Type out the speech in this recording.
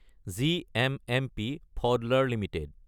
GMMP ফাউডলাৰ Ltd